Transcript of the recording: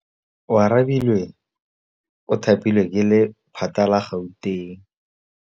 Oarabile o thapilwe ke lephata la Gauteng.